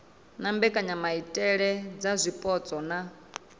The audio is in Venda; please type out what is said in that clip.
na mbekanyamaitele dza zwipotso na